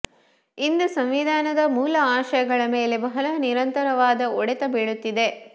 ಇಂದು ಸಂವಿಧಾನದ ಮೂಲ ಆಶಯಗಳ ಮೇಲೆ ಬಹಳ ನಿರಂತರವಾದ ಒಡೆತ ಬೀಳುತ್ತಿದೆ